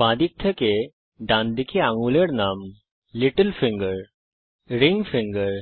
বাঁদিক থেকে ডানদিকে আঙুলের নাম লিটল ফিঙ্গার রিং ফিঙ্গার